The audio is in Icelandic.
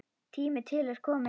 Tími til kominn.